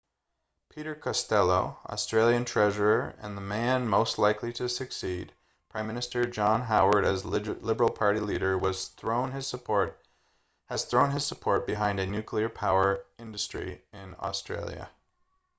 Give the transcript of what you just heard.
peter costello australian treasurer and the man most likely to succeed prime minister john howard as liberal party leader has thrown his support behind a nuclear power industry in australia